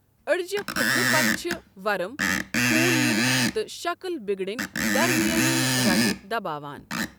أڈجہِ پٔھٹنہٕ پتہٕ چھِ ورٕم، خون یُن، تہٕ شکٕل بِگڑٕنۍ درمیٲنی رَگہِ دباوان۔